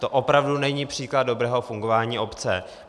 To opravdu není příklad dobrého fungování obce.